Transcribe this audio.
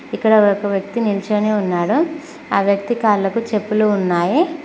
ఇక్కడ ఒక వ్యక్తి నిల్చోని ఉన్నాడు ఆ వ్యక్తి కాళ్ళకు చెప్పులు ఉన్నాయి.